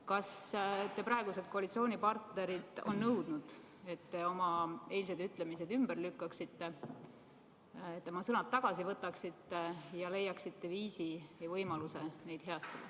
Kas teie praegused koalitsioonipartnerid on nõudnud, et te oma eilsed ütlemised ümber lükkaksite, oma sõnad tagasi võtaksite ja leiaksite viisi ja võimaluse neid heastada?